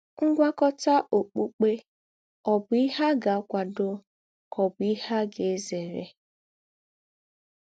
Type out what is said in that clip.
Ngwákọ̀tà ọ́kpukpè ọ̀ bụ̀ ìhè à gà - àkwàdò kà ọ̀ bụ̀ ìhè à gà - èzèrè?